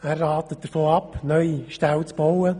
Er rät davon ab, neue Ställe zu bauen.